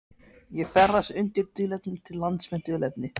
Ég ferðast undir dulnefni til lands með dulnefni.